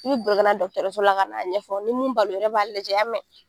I bɛ boli ka na dɔgɔtɔrɔso la ka na ɲɛfɔ ni n b'a la o yɛrɛ b'a lajɛ, i y'a mɛn?